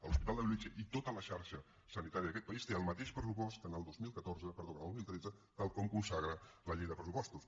l’hospital de bellvitge i tota la xarxa sanitària d’aquest país té el mateix pressupost que en el dos mil tretze tal com consagra la llei de pressupostos